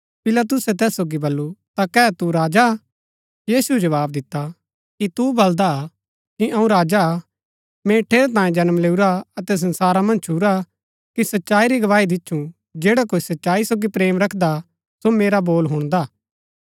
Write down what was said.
पिलातुसै तैस सोगी बल्लू ता कै तू राजा हा यीशुऐ जवाव दिता कि तू बलदा हा कि अऊँ राजा हा मैंई ठेरैतांये जन्म लैऊरा अतै संसारा मन्ज छूरा कि सच्चाई री गवाही दिच्छु जैडा कोई सच्चाई सोगी प्रेम रखदा हा सो मेरा बोल हुणदा